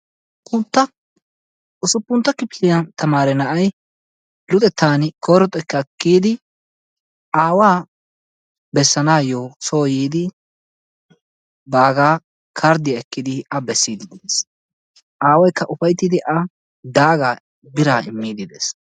usupuntta kifiliya tamaare na'ay luxetaani koyro xekkaa kiyidi aawaa bessanaayo soo yiidi baagaa karddiya ekkidi a bessidi de'ees. aawaykka ufayttidi a daagaa biraa immidi de'ees.